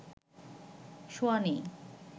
শোয়া নেই,